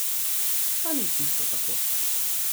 Pa ni čisto tako.